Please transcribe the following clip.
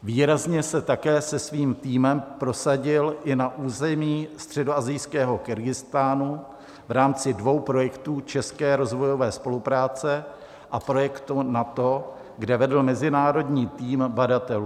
Výrazně se také se svým týmem prosadil i na území středoasijského Kyrgyzstánu v rámci dvou projektů české rozvojové spolupráce a projektu NATO, kde vedl mezinárodní tým badatelů.